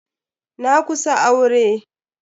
Na kusa aure.